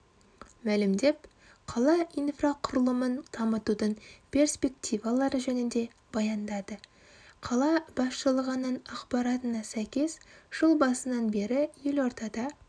мәлімдеп қала инфрақұрылымын дамытудың перспективалары жөнінде баяндады қала басшылығының ақпаратына сәйкес жыл басынан бері елордада